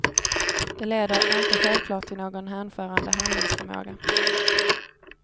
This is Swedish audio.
Det leder inte självklart till någon hänförande handlingsförmåga.